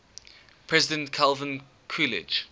president calvin coolidge